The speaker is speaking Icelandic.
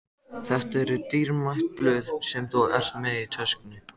Þetta eru dýrmæt blöð sem þú ert með í töskunni.